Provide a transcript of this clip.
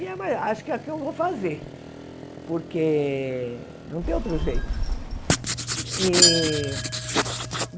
E a ma acho que é o que eu vou fazer, porque não tem outro jeito. E